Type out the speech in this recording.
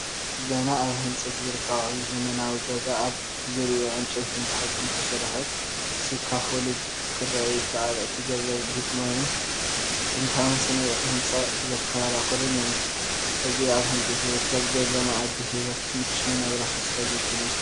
ገና ኣብ ህንፀት ዝርከብ ዓብዪ ዘመናዊ ገዛ ኣብ ዙርያኡ ዕንጨይትን ብሓጺንን ዝተሰርሐ ስካፎልድ ክርአ ይከኣል። እቲ ገዛ ግርማዊን ንጥንታዊ ስነ ህንጻ ዘዘኻኽርን እዩ። እዚ ኣብ ህንጸት ዝርከብ ገዛንመጻኢ ህይወትን ምቹው ናብራን ተስፋ ዝውክል እዩ።